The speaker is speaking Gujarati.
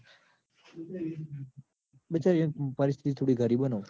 બચારી પરિસ્થિતિ થોડી ગરીબ હ ન.